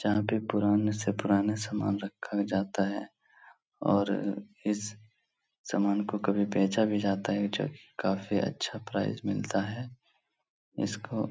यहाँ पे पुराने से पुराना सामान रखा जाता है और इस सामान को कभी बेचा भी जाता है जोकि काफी अच्छा प्राइस मिलता है इसको --